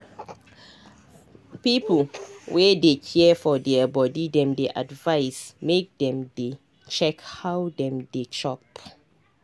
people wey dey care for their body dem dey advise make dem dey check how dem dey chop.